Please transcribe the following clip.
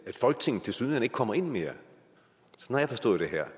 at folketinget tilsyneladende ikke kommer ind mere jeg har forstået